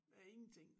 Af ingenting